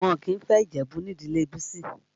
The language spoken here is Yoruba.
Wọn kìí fẹ́ Ìjẹ̀bú nídìlé Bisi